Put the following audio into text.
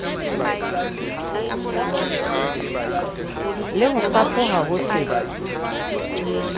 le ho fapoha ho se